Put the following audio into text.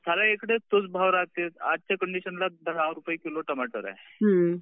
साऱ्या इकडे तोच भाव राहते, आजच्या कंडिशनला दहा रुपये किलो टमाटर आहे.